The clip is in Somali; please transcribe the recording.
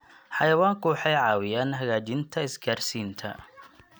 Xayawaanku waxay caawiyaan hagaajinta isgaadhsiinta.